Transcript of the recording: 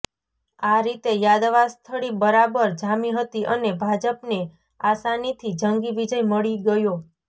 આ રીતે યાદવાસ્થળી બરાબર જામી હતી અને ભાજપને આસાનીથી જંગી વિજય મળી ગયો